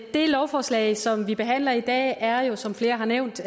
det lovforslag som vi behandler i dag er jo som flere har nævnt